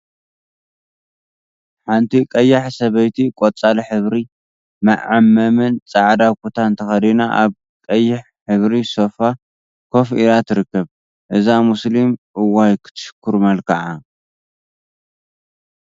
ሓንቲ ቀያሕ ሰበይቲ ቆፃል ሕብሪ መዐመምን ፃዕዳ ኩታን ተከዲና አብ ቀይሕ ሕብሪ ሶፋ ኮፍ ኢላ ትርከብ፡፡ እዛ ሙሰሊም እዋይ ክትሽኩር መልክዓ!